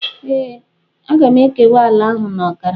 Ee, aga m ekewa ala ahụ na ọkara.